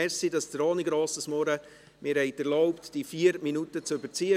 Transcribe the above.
Danke, dass Sie mir ohne grosses Murren erlaubt haben, 5 Minuten zu überziehen.